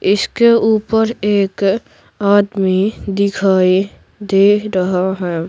इसके ऊपर एक आदमी दिखाई दे रहा है।